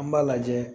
An b'a lajɛ